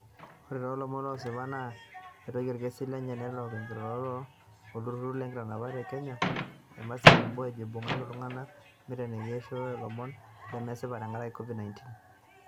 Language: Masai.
Ore too lomon losipa loo retoki orkesi lenye netejo ortikok loo olturur lo nkitanapat ee Kenya aa Mercy Wambua ajo ibung'aki iltung'anak nitenikini ajo ishooitie lomon lemesipa tenkaraki Covid 19